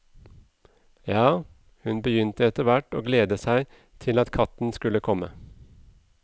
Ja, hun begynte etterhvert å glede seg til at katten skulle komme.